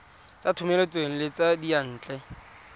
tsa thomeloteng le tsa diyantle